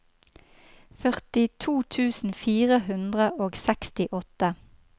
førtito tusen fire hundre og sekstiåtte